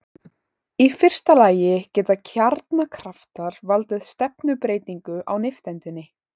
Í fyrsta lagi geta kjarnakraftar valdið stefnubreytingu á nifteindinni.